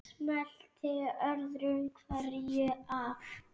Smellti öðru hverju af.